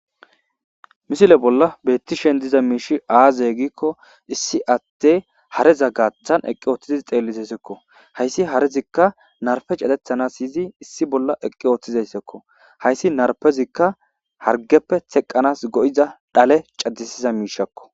Misile bolla beetti shen diza miishi aaze gikko issi atte hareza gaathan eqqi ooththiziz xeellizesekko hayssi harezikka narfe catethanas yizi issi bolla eqqi ooththizayssakko hayssi narpezikka hargeppe teqqanas go7iza dhale caddisiza miishakko